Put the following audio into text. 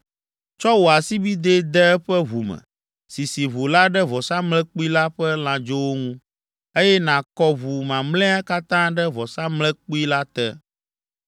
Tsɔ wò asibidɛ de eƒe ʋu me, sisi ʋu la ɖe vɔsamlekpui la ƒe lãdzowo ŋu, eye nàkɔ ʋu mamlɛa katã ɖe vɔsamlekpui la te.